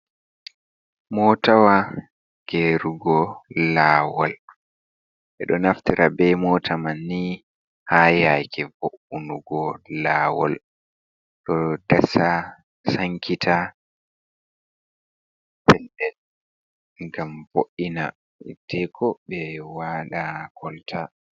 Motawaa gerugo lawol. Ɓeɗo naftira be mota manni ha yake vo, unugo lawol. Ɗo dasa sankita ngam vo, ina hiddeko ɓe wada kolta.